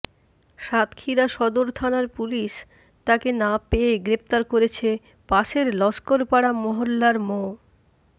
সাতক্ষীরা সদর থানার পুলিশ তাঁকে না পেয়ে গ্রেপ্তার করেছে পাশের লস্করপাড়া মহল্লার মো